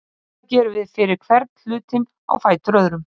Svona gerum við fyrir hvern hlutinn á fætur öðrum.